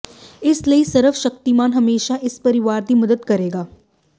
ਇਸ ਲਈ ਸਰਵ ਸ਼ਕਤੀਮਾਨ ਹਮੇਸ਼ਾ ਇਸ ਪਰਿਵਾਰ ਦੀ ਮਦਦ ਕਰੇਗਾ